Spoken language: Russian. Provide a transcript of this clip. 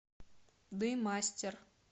дымастер